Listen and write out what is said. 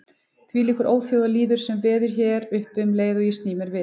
Þvílíkur óþjóðalýður sem veður hér uppi um leið og ég sný mér við.